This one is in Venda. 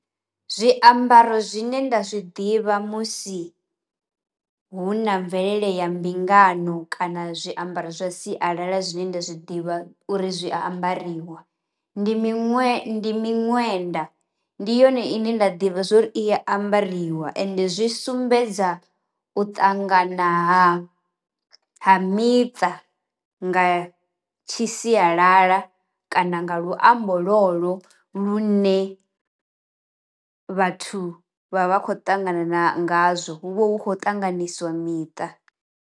Zwiambaro zwine nda zwiḓivha musi hu na mvelele ya mbingano kana zwiambaro zwa sialala zwine nda zwi ḓivha uri zwi ambariwa ndi miṅwe ndi miṅwenda, ndi yone ine nda ḓivha zwori i ambariwa ende zwi sumbedza u ṱangana ha miṱa nga tshi sialala kana nga luambo lwolwo lune vhathu vha vha khou ṱangana na ngazwo hu vha hu khou ṱanganisiwa miṱa.